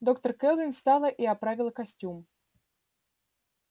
доктор кэлвин встала и оправила костюм